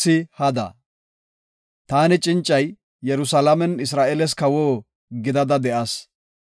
Taani cincay, Yerusalaamen Isra7eeles kawo gidada de7as.